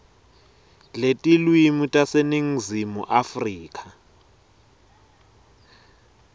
letilwimi taseningizimu afrika